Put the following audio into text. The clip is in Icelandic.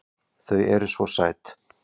Þau eru SVO SÆT!